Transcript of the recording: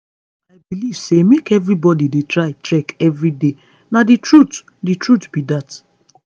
i believe say make everybody dey try trek every day na the truth the truth be that.